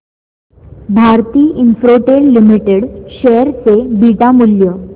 Bharti Infratel limited share चे beta मूल्य